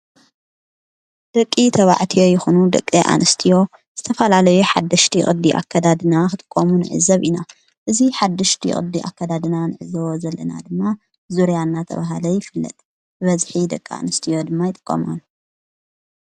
ደቂ ተባዕትዮ ይኹኑ ደቂ ኣንስትዮ ዝተፋላለዮ ሓድሽቲ ቕዲ ኣከዳድና ኽትቆሙን ዕዘብ ኢና እዙይ ሓድሽቲ ቕዲ ኣከዳድና ንዕዘወ ዘለና ድማ ዙርያና ተብሃለ ይፍለጥ በዝኂ ደቂ ኣንስትዮ ድማ ይጥቆማሉ